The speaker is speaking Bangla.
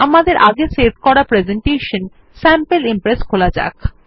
আমাদের আগে সেভ করা প্রেসেন্টেশন sample ইমপ্রেস খোলা যাক